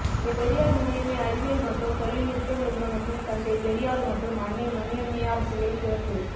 பெரியார் மணியம்மை அறிவியல் மற்றும் தொழில் நுட்ப நிறுவனத்தில் தந்தை பெரியார் மற்றும் அன்னை மணியம்மையார் சிலை திறப்பு